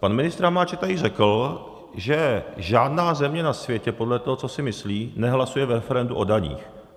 Pan ministr Hamáček tady řekl, že žádná země na světě, podle toho, co si myslí, nehlasuje v referendu o daních.